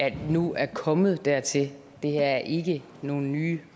at det nu er kommet dertil det her er ikke nogle nye